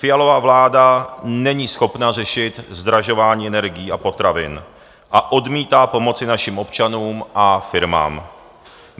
Fialova vláda není schopna řešit zdražování energií a potravin a odmítá pomoci našim občanům a firmám.